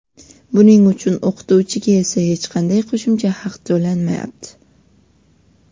Buning uchun o‘qituvchiga esa hech qanday qo‘shimcha haq to‘lanmayapti.